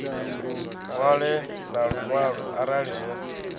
ṅwale na luṅwalo arali zwo